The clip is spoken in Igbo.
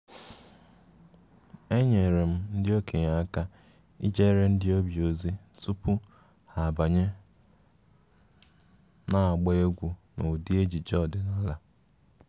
enyere m ndị okenye aka ijere ndị ọbịa ozi tupu ha abanye n’agba egwú n’ụdị ejiji ọdịnala